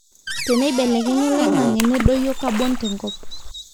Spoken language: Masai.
teneibelekenya oloingange nedoyio carbon te nkop